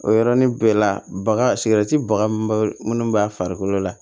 O yɔrɔnin bɛɛ la baga baga minnu b'a farikolo la